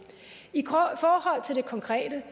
konkrete